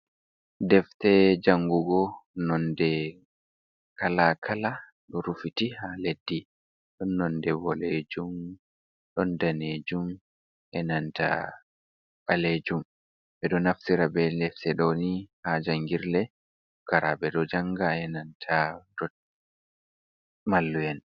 "Defte" jangugo nonde kala kala ɗo rufiti ha leddi ɗon nonde ɓoɗejum, ɗon danejum, enanta ɓalejum. Ɓeɗo naftira be defte ɗo on ha jangirle pukaraaɓe ɗo janga enanta mallum en.